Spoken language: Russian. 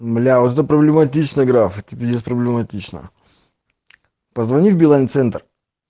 бля вот это проблематично граф это пиздец проблематично позвони в билайн центр